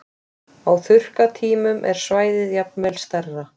Á þurrkatímum er svæðið jafnvel enn stærra.